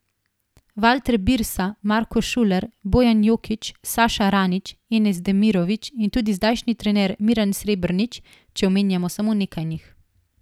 Valter Birsa, Marko Šuler, Bojan Jokić, Saša Ranić, Enes Demirović in tudi zdajšnji trener Miran Srebrnič, če omenimo samo nekaj njih.